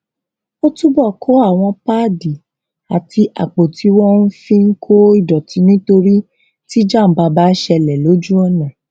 ó túbọ kó àwọn páàdì àti àpò tí wọn fi ń kó ìdòtí nítorí tí jàǹbá bá ṣẹlè lójú ònà